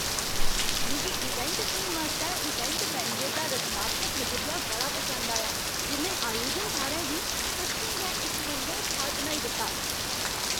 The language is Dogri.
मिगी इवेंट थीम आस्तै इवेंट मैनेजर दा रचनात्मक नजरिया बड़ा पसंद आया, जि'न्नै आयोजन थाह्रै गी सच्चें गै इक मनमोह्क जगह बनाई दित्ता।